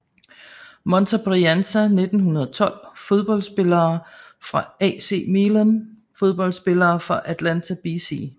Monza Brianza 1912 Fodboldspillere fra AC Milan Fodboldspillere fra Atalanta BC